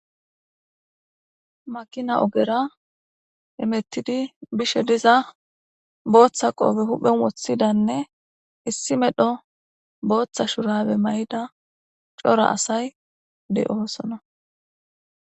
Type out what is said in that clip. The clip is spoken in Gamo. makina ogera hemettidi bishe diza booththa qoobe huphen woththidanne issi medho booththa shurabe may7ida cora asay de7oosona